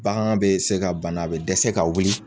Bagan be se ka bana be dɛsɛ ka wuli